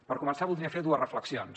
per començar voldria fer dues reflexions